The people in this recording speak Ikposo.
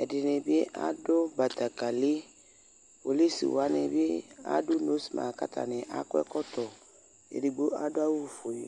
ɛdinibi ɑdu bɑtekeli kpolusiwanibi adu nospa katani ɑkɔekɔtɔ ɛdigbo ɑduawufue